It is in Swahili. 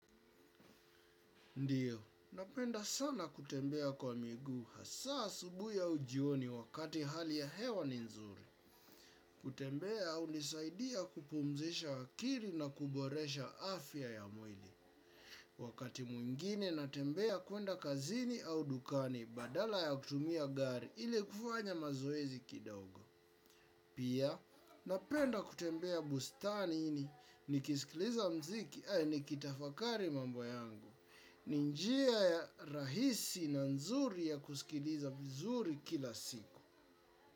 Ndiyo, napenda sana kutembea kwa miguu hasa asubuhi au jioni wakati hali ya hewa ni nzuri. Kutembea hunisaidia kupumzisha akili na kuboresha afya ya mwili. Wakati mwingine natembea kwenda kazini au dukani badala ya kutumia gari ili kufanya mazoezi kidogo. Pia, napenda kutembea bustanini nikiskiliza muziki au nikitafakari mambo yangu. Ni njia ya rahisi na nzuri ya kusikiliza vizuri kila siku.